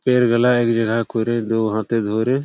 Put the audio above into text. পেরগালা একজায়গায় করে দুহাতে ধরে--